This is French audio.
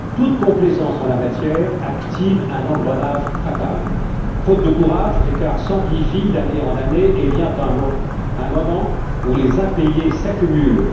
Toute complaisance en la matière active un engrenage fatal. Faute de courage, l'écart s'amplifie d'année en année et vient un moment où les impayés s'accumulent.